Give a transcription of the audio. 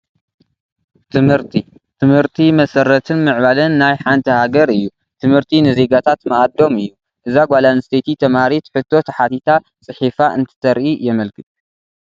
ትምህርቲ፡- ትምህርቲ መሰረትን ምዕባለን ናይ ሓንቲ ሃገር እዩ፡፡ ትምህርቲ ንዜጋታት ማኣዶም እዩ፡፡ እዛ ጓል ኣነስተይቲ ተምሃሪት ሕቶ ተሓቲታ ፂሒፍ እንትተርኢ የመልክት፡፡